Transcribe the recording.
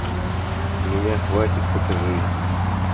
с меня хватит покажи